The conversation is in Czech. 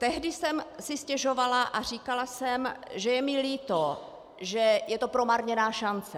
Tehdy jsem si stěžovala a říkala jsem, že je mi líto, že je to promarněná šance.